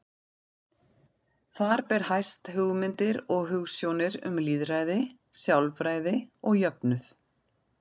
Þar ber hæst hugmyndir og hugsjónir um lýðræði, sjálfræði og jöfnuð.